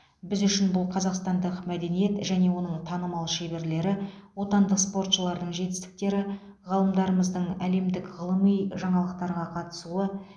біз үшін бұл қазақстандық мәдениет және оның танымал шеберлері отандық спортшылардың жетістіктері ғалымдарымыздың әлемдік ғылыми жаңалықтарға қатысуы